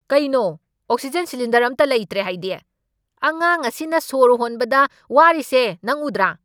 ꯀꯩꯅꯣ oxygen cylinder ꯑꯃꯠꯇ ꯂꯩꯇ꯭ꯔꯦ ꯍꯥꯏꯗꯤ? ꯑꯉꯥꯡ ꯑꯁꯤꯅ ꯁꯣꯔ ꯍꯣꯟꯕꯗ ꯋꯥꯔꯤꯁꯦ ꯅꯪ ꯎꯗ꯭ꯔꯥ?